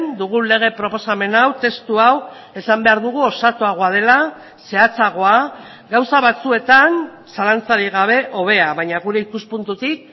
dugun lege proposamen hau testu hau esan behar dugu osatuagoa dela zehatzagoa gauza batzuetan zalantzarik gabe hobea baina gure ikuspuntutik